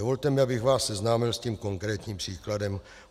Dovolte mi, abych vás seznámil s tím konkrétním příkladem.